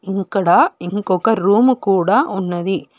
ఇక్కడ ఇంకొక రూము కూడా ఉన్నది.